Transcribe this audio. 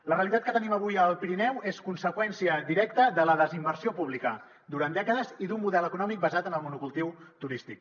la realitat que tenim avui al pirineu és conseqüència directa de la desinversió pública durant dècades i d’un model econòmic basat en el monocultiu turístic